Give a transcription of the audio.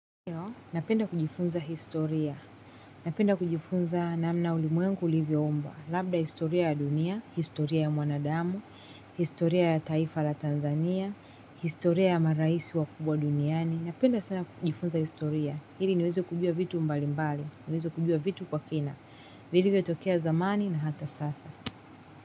Napenda kujifunza historia. Napenda kujifunza namna ulimwengu ulivyoumbwa labda historia ya dunia, historia ya mwanadamu, historia ya taifa la Tanzania, historia ya maraisi wakubwa duniani. Napenda sana kujifunza historia. Ili niweze kujua vitu mbalimbali. Niweze kujua vitu kwa kina. Vilivyotokea zamani na hata sasa.